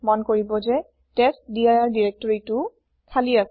মন কৰিব যে টেষ্টডিৰ দিৰেক্তৰিটোও খালি আছিল